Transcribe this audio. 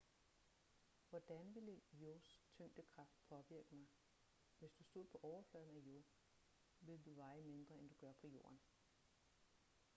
hvordan ville io's tyngdekraft påvirke mig hvis du stod på overfladen af io ville du veje mindre end du gør på jorden